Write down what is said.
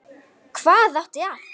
Hvað átti að